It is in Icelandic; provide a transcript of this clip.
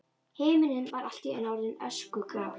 Himinninn var allt í einu orðinn öskugrár.